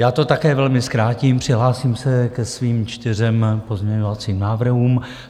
Já to také velmi zkrátím, přihlásím se ke svým čtyřem pozměňovacím návrhům.